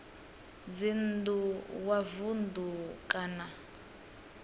dzinn ḓu wa vunḓu kana